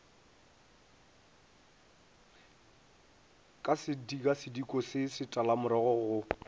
ka sekasediko se setalamorogo go